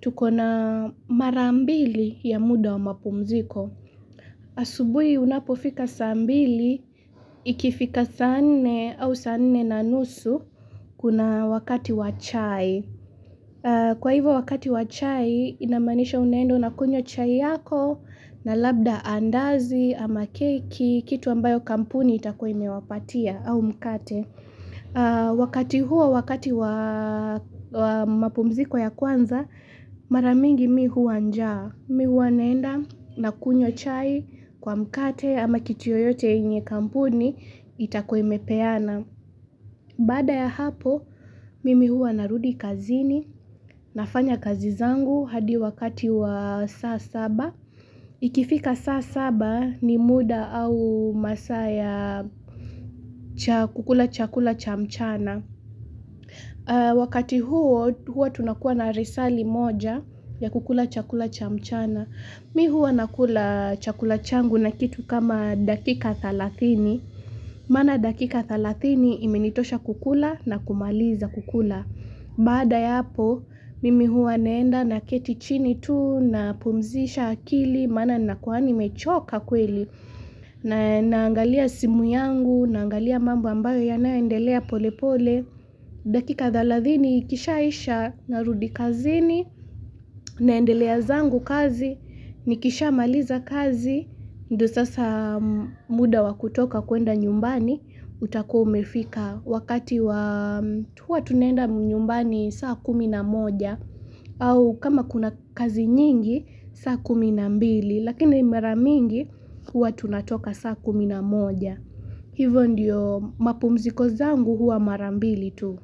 tuko na marambili ya muda wa mapumziko. Asubui unapofika sambili, ikifika saa nne au saa nne na nusu kuna wakati wa chai. Kwa hivyo wakati wa chai inamaanisha unaenda unakunywa chai yako na labda andazi ama keki, kitu ambacho kampuni imewapatia au mkate. Wakati huo wakati wa mapumziko ya kwanza maranyingi mi huwa njaa. Mi huwa naenda na kunyw chai kwa mkate ama kitu yoyote yenye kampuni itakuwei imepena. Baada ya hapo, mimi hua narudi kazini, nafanya kazizangu hadi wakati wa saa saba. Ikifika saa saba ni muda au masaa ya chakula chakula cha mchana. Wakati huo, hua tunakua na li saa li moja ya kukula chakula cha mchana. Mi hua nakula chakula changu na kitu kama dakika thelathini. Mana dakika thelathini imenitosha kukula na kumaliza kukula. Baada yapo, mimi huwa neenda naket chini tu napumzisha akili, mana nakuwa nimechoka kweli. Naangalia simu yangu, naangalia mambu ambayo yanayendelea pole pole. Dakika thelathini, ikishaisha narudi kazini, naendelea zangu kazi, nikisha maliza kazi. Ndo sasa muda wakutoka kuenda nyumbani utakuwa umefika wakati wakati huwa tunenda nyumbani saa kumi na moja au kama kuna kazi nyingi saa kumi na mbili lakini mara mingi huwa tunatoka saa kumi na moja Hivyo ndiyo mapumziko zangu huwa mara mbili tu.